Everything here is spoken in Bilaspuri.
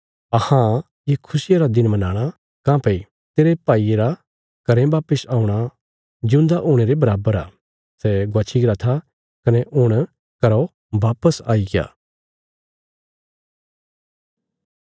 अहां ये खुशिया रा दिन मनाणा काँह्भई तेरे भाईये रा घरें वापस औणा जिऊंदा हुणे रे बराबर आ सै गवाच्छी गरा था कने हुण सै घरौ वापस आईग्या